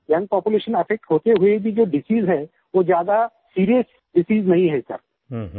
और young population affect होते हुए भी जो डिसीज है और वो ज्यादा सीरियस डिसीज नहीं है सर